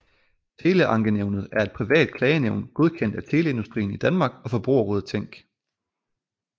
Teleankenævnet er et privat klagenævn godkendt af Teleindustrien i Danmark og Forbrugerrådet Tænk